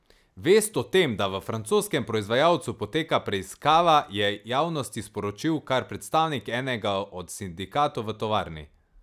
Vest o tem, da v francoskem proizvajalcu poteka preiskava, je javnosti sporočil kar predstavnik enega od sindikatov v tovarni.